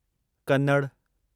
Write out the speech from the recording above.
Kannada